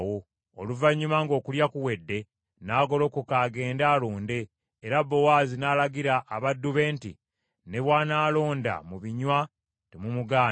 Oluvannyuma ng’okulya kuwedde, n’agolokoka agende alonde, era Bowaazi n’alagira abaddu be nti, “Ne bw’anaalonda mu binywa temumugaana.